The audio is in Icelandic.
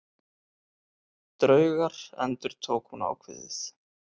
Draugar endurtók hún ákveðið.